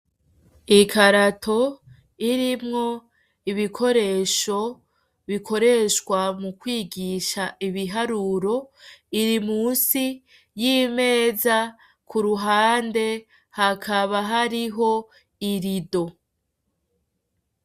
Ikarato irimwo ibikoresho bikoreshwa mu kwigisha ibiharuro, iri musi y'imeza, ku ruhande hakaba hariho irido.